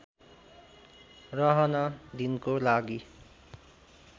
रहन दिनको लागि